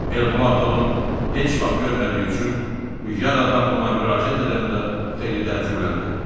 Elmulato onu heç vaxt görmədiyi üçün bu yad adam ona müraciət edəndə xeyli təəccübləndi.